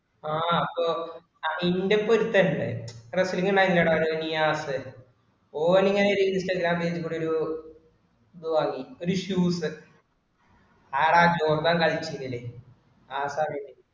ആഹ് അപ്പൊ അതിന്റെ പൊരുത്തം അല്ലെ. നിയാസ് ഓൻ ഇങനെ instagram page ഇൽ കൂടെ ഒരു ഇത് വാങ്ങി, ഒരു shoes അവിടെ ആ കളിപ്പിക്കല്, ആർക്കാ അറിയല്